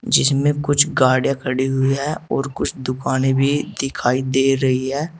जिसमें कुछ गाड़िया खड़ी हुई है और कुछ दुकानें भी दिखाई दे रही हैं।